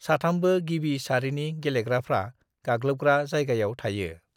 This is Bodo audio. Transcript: साथामबो गिबि सारिनि गेलेग्राफ्रा गाग्लोबग्रा जायगायाव थायो।